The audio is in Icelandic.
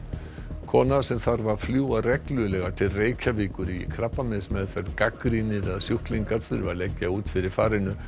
kona sem þarf að fljúga reglulega til Reykjavíkur í krabbameinsmeðferð gagnrýnir að sjúklingar þurfi að leggja út fyrir farinu